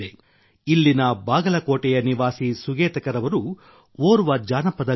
ಇಲ್ಲಿನ ಬಾಗಲಕೋಟೆಯ ನಿವಾಸಿ ಸುಗೇತಕರ್ ಅವರು ಓರ್ವ ಜಾನಪದ ಗಾಯಕ